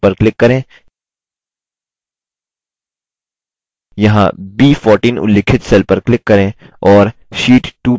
यहाँ b14 उल्लिखित cell पर click करें और sheet 2 प्रविष्ट करें